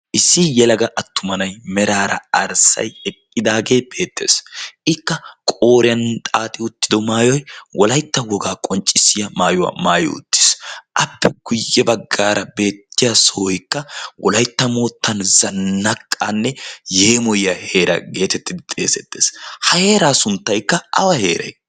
Issi yelaga attuma na'aay meraara arssay eqqidaagee beettees. Ikka qooriyan xaaxi uttido maayoy wolyaytta wogaa qonccissiya maayuwaa maayi uttiis. Appe guyye baggaara beettiya sohoykka wolyaytta moottaa zannaqqaanne yeemoyiya heera geetettidi xeesettees. Ha heeraa sunttaykka awa heeray?